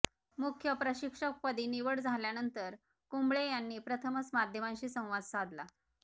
मुख्य प्रशिक्षकपदी निवड झाल्यानंतर कुंबळे यांनी प्रथमच माध्यमांशी संवाद साधला